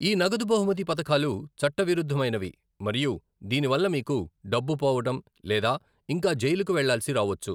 ఈ 'నగదు బహుమతి' పథకాలు చట్టవిరుద్ధమైనవి మరియు దీని వల్ల మీకు డబ్బు పోవడం లేదా ఇంకా జైలుకు వెళ్లాల్సిన రావొచ్చు.